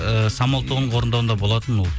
ііі самал тобының орындауында болатын ол